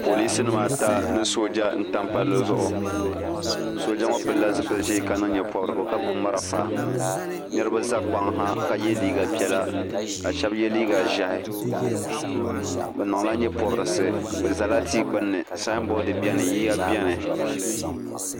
Polinsinima ata ni sooja n-tam palli zuɣu sooja ŋɔ pilila zipili ʒee ka niŋ nyepɔbirigu ka gbubi marafa niriba za kpaŋ ha ka ye liiga piɛla ka shɛba ye liiga ʒɛhi bɛ niŋla nyepɔbirisi bɛ zala tia gbuni saanboodi beni yiya beni.